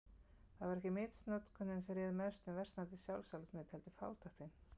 Það var ekki misnotkunin sem réð mestu um versnandi sjálfsálit mitt, heldur fátæktin.